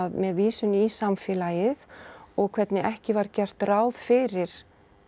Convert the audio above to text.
með vísun í samfélagið og hvernig ekki var gert ráð fyrir